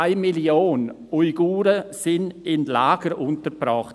eine Million Menschen sind im Moment in Lagern untergebracht.